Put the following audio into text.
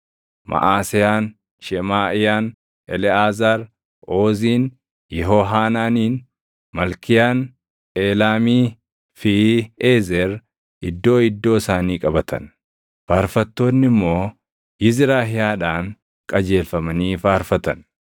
Maʼaseyaan, Shemaaʼiyaan, Eleʼaazaar, Ooziin, Yehohaanaaniin, Malkiyaan, Eelaamii fi Eezer iddoo iddoo isaanii qabatan. Faarfattoonni immoo Yizrahiyaadhaan qajeelfamanii faarfatan.